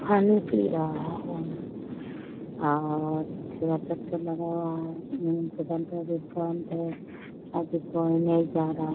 पानी पी रहा है और ठेला ट्रेक्टर लगा हुआ है। बंद है। अभी कोई नहीं जा रहा है।